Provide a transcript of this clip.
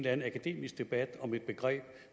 anden akademisk debat om et begreb